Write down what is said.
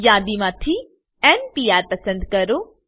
યાદી માંથી n PR પસંદ કરો